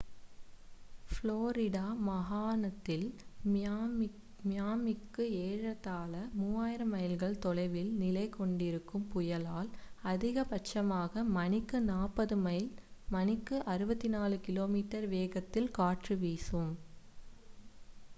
Florida மாகாணத்தில் மியாமிக்கு ஏறத்தாழ 3000 மைல்கள் தொலைவில் நிலை கொண்டிருக்கும் புயலால் அதிக பட்சமாக மணிக்கு 40 மைல் மணிக்கு 64 கி.மீ வேகத்தில் காற்று வீசும்